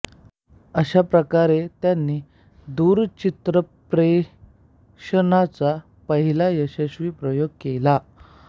अशा प्रकारे त्यांनी दूरचित्रप्रेषणाचा पहिला यशस्वी प्रयोग केला